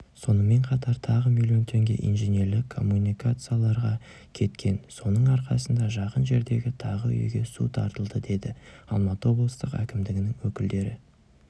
сонымен қатар тағы миллион теңге инженерлік коммуникацияларға кеткен соның арқасында жақын жердегі тағы үйге су тартылды деді алматы облыстық әкімдігінің өкілдері